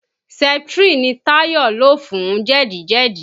Septrin ni Tayo lò fún jẹ́dì-jẹ́dì